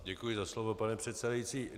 Děkuji za slovo, pane předsedající.